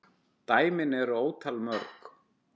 Dæmin eru ótal mörg.